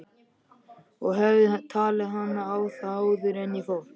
Ég hefði talið hana á það áður en ég fór.